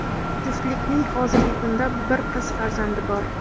Juftlikning hozirgi kunda bir qiz farzandi bor.